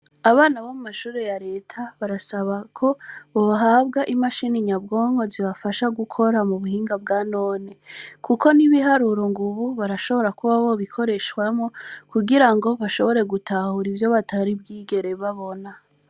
abana bo mu mashure ya Reta barasaba ko bohabwa imashine nyabwonko zibafasha gukora mu buhinga bwa none, Kuko n'ibiharuro Ubu urashobora kuba wabikoreshamwo kugira ngo bashobore gutahura ivyo batari bwigere babona